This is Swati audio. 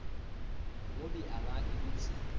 ngobe angati kutsi